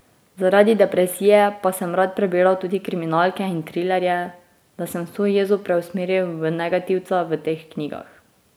Zaradi depresije pa sem rad prebiral tudi kriminalke in trilerje, da sem vso jezo preusmeril v negativca v teh knjigah.